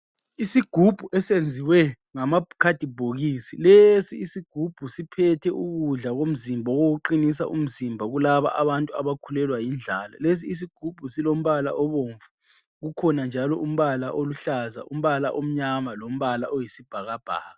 Isigubhu esenziwe ngamakhadibhokisi lesi isigubhu siphethe ukudla komzimba owokuqinisa umzimba kulabo abantu abakhulelwa yindlala. Lezi izigubhu zilombala obomvu ukhona njalo umbala oluhlaza, umbala omnyama lombala oyisibhakabhaka.